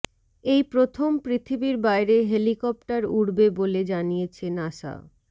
এই প্রথম পৃথিবীর বাইরে হেলিকপ্টার উড়বে বলে জানিয়েছে নাসা